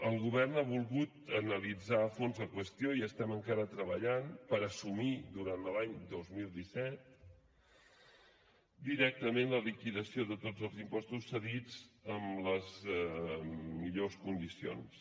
el govern ha volgut analitzar a fons la qüestió i estem encara treballant per assumir durant l’any dos mil disset directament la liquidació de tots els impostos cedits en les millors condicions